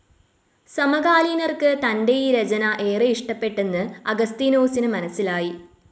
സമകാലീനർക്ക് തന്റെ ഈ രചന ഏറെ ഇഷ്ടപ്പെട്ടെന്ന് അഗസ്തീനോസിന്‌ മനസ്സിലായി.